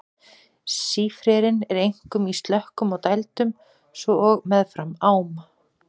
Sífrerinn er einkum í slökkum og dældum svo og meðfram ám.